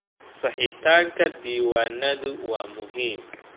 Saxitaanka diiwaanadu waa muhiim.